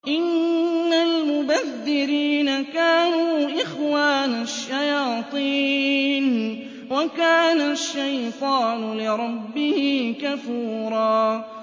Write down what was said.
إِنَّ الْمُبَذِّرِينَ كَانُوا إِخْوَانَ الشَّيَاطِينِ ۖ وَكَانَ الشَّيْطَانُ لِرَبِّهِ كَفُورًا